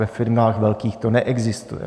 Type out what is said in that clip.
Ve firmách velkých to neexistuje.